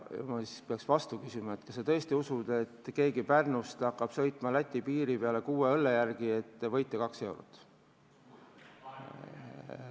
Ma peaksin vastu küsima, kas sa tõesti usud, et keegi hakkab Pärnust sõitma Läti piiri taha kuue õlle järele, et võita 2 eurot?